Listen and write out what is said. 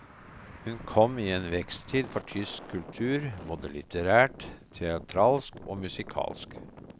Hun kom i en veksttid for tysk kultur, både litterært, teatralsk og musikalsk.